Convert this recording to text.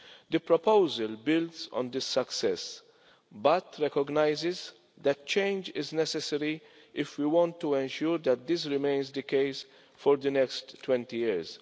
The proposal builds on this success but recognises that change is necessary if we want to ensure that this remains the case for the next 20 years.